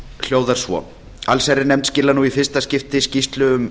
hljóðar svo allsherjarnefnd skilar nú í fyrsta skipti áliti um